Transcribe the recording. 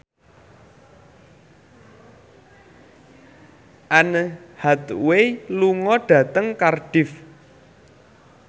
Anne Hathaway lunga dhateng Cardiff